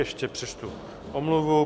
Ještě přečtu omluvu.